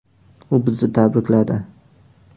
U bizni tabrikladi.